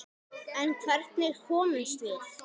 En hvernig komumst við?